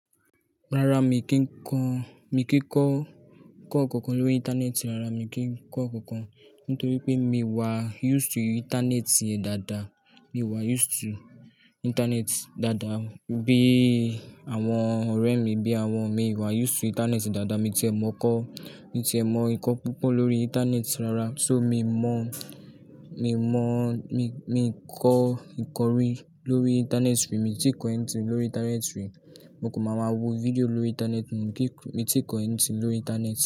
Rara, mi kì í kọ́, mi kì í kọ́, kọ́ nkankan lórí Íńtánẹ́ẹ̀tì. Rara, mi kì í kọ́ nkankan nítorí pé mi wà use to Íńtánẹ́ẹ̀tì dáadáa. Mi wà use to Íńtánẹ́ẹ̀tì dáadáa. Bí àwọn ọ̀rẹ́ mi, bí àwọn mi wà use to Íńtánẹ́ẹ̀tì dáadáa. Mi ti è mọ̀ kọ́, mi ti è mọ ìkọ́ púpọ̀ lórí Íńtánẹ́ẹ̀tì rara. So, mi mọ̀, mi mọ̀, mi, mi kọ ìkọ̀rí lórí Íńtánẹ́ẹ̀tì rí. Mi ti kọ ẹ̀yìn tí lórí Íńtánẹ́ẹ̀tì rí. Mo kò máa ma wo fídíò lórí Íńtánẹ́ẹ̀tì mọ́. Mi ti kọ ẹ̀ni tí lórí Íńtánẹ́ẹ̀tì.